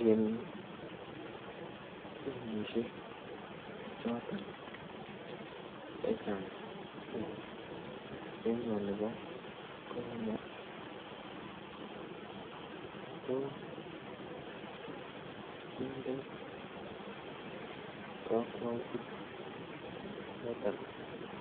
En benkishek chotoon che chaang en emanii konyei ko kindee kakwautiik chotoon